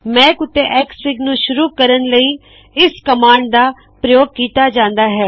ਮੈਕ ਉੱਤੇ ਐਕਸਐਫਆਈਜੀ ਨੂ ਸ਼ੁਰੁ ਕਰਣ ਲਇ ਇਸ ਕਮਾਂਡ ਦਾ ਪ੍ਰਯੋਗ ਕੀਤਾ ਗਇਆ ਹੈ